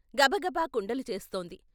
గబగబ కుండలు చేస్తోంది.